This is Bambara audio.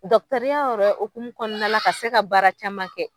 Dɔkɔtɔrɔya yɛrɛ hokumu kɔnɔna la ka se ka baara caman kɛ